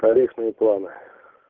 тарифные планы